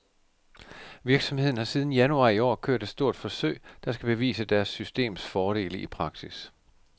Virksomheden har siden januar i år kørt et stort forsøg, der skal bevise deres systems fordele i praksis.